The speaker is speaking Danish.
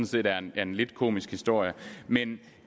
set er en en lidt komisk historie men